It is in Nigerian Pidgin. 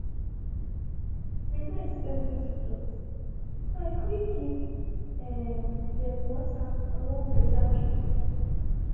i no expect visitors so i quick give um dem water and one better juice.